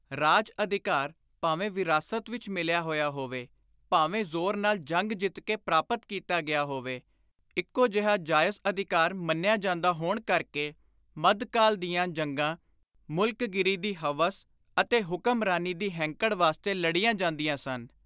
ਰਾਜ-ਅਧਿਕਾਰ ਭਾਵੇਂ ਵਿਰਾਸਤ ਵਿਚ ਮਿਲਿਆ ਹੋਇਆ ਹੋਵੇ ਭਾਵੇਂ ਜ਼ੋਰ ਨਾਲ ਜੰਗ ਜਿੱਤ ਕੇ ਪ੍ਰਾਪਤ ਕੀਤਾ ਗਿਆ ਹੋਵੇ, ਇਕੋ ਜਿਹਾ ਜਾਇਜ਼ ਅਧਿਕਾਰ ਮੰਨਿਆ ਜਾਂਦਾ ਹੋਣ ਕਰਕੇ ਮੱਧਕਾਲ ਦੀਆਂ ਜੰਗਾਂ ਮੁਲਕਗੀਰੀ ਦੀ ਹਵਸ ਅਤੇ ਹੁਕਮਰਾਨੀ ਦੀ ਹੈਂਕੜ ਵਾਸਤੇ ਲੜੀਆਂ ਜਾਂਦੀਆਂ ਸਨ।